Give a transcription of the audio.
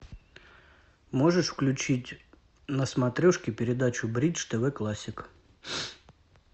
можешь включить на смотрешке передачу бридж тв классик